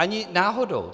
Ani náhodou.